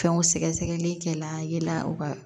Fɛnw sɛgɛsɛgɛli kɛla yala u ka